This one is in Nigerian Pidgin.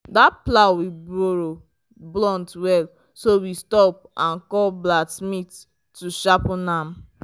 that plow we borrow blunt well so we stop and call blacksmith to sharpen am.